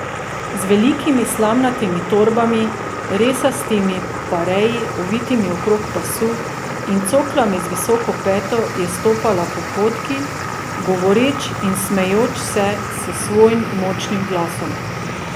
Z velikimi slamnatimi torbami, resastimi parei, ovitimi okrog pasu, in coklami z visoko peto je stopala po potki, govoreč in smejoč se s svojim močnim glasom.